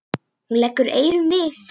Hún leggur eyrun við.